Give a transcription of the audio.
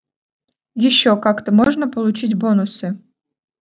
ещё как-то можно получить бонусы